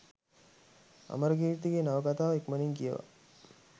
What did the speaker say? අමරකීර්තිගේ නවකතාව ඉක්මණින් කියවා